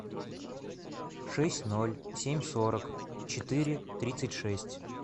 шесть ноль семь сорок четыре тридцать шесть